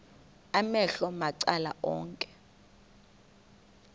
amehlo macala onke